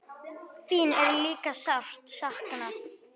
Þín er líka sárt saknað.